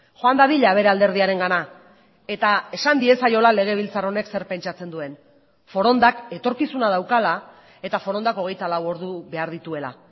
joan dadila bere alderdiarengana eta esan diezaiola legebiltzar honek zer pentsatzen duen forondak etorkizuna daukala eta forondak hogeita lau ordu behar dituela